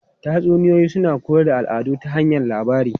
Tatsuniyoyi suna koyar da al'adu ta hanyar labari.